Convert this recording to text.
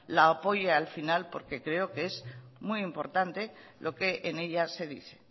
lo apoye al final porque creo que es muy importante lo que en ella se dice